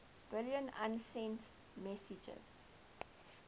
billion usenet messages